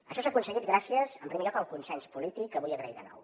això s’ha aconseguit gràcies en primer lloc al consens polític que vull agrair de nou